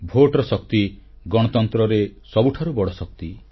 vote ବା ମତଦାନର ଶକ୍ତି ଗଣତନ୍ତ୍ରରେ ସବୁଠାରୁ ବଡ଼ ଶକ୍ତି